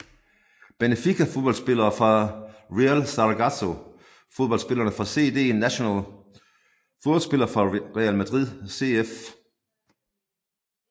Benfica Fodboldspillere fra Real Zaragoza Fodboldspillere fra CD Nacional Fodboldspillere fra Real Madrid CF